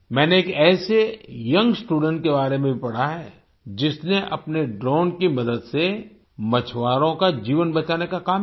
मैंने एक ऐसे यंग स्टूडेंट के बारे में भी पढ़ा है जिसने अपने ड्रोन की मदद से मछुआरों का जीवन बचाने का काम किया